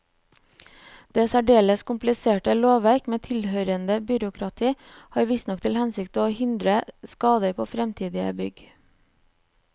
Det særdeles kompliserte lovverk med tilhørende byråkrati har visstnok til hensikt å hindre skader på fremtidige bygg.